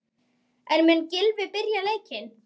En mun Gylfi byrja leikinn?